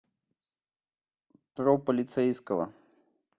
про полицейского